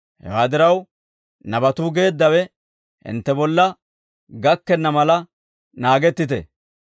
Hewaa diraw, nabatuu geeddawe hintte bolla gakkenna mala naagettite;